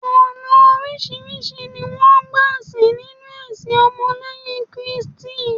ọnà orisirisi ni won gba sìn ninu ẹsìn ọmọ leyin kristi